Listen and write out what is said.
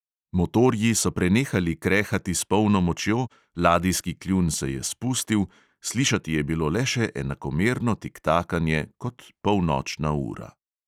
Motorji so prenehali krehati s polno močjo, ladijski kljun se je spustil, slišati je bilo le še enakomerno tiktakanje, kot polnočna ura.